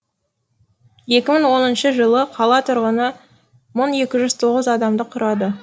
екі мың оныншы жылы қала тұрғыны мың екі жүз тоғыз адамды құрады